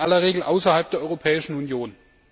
In aller Regel außerhalb der Europäischen Union!